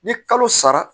Ni kalo sara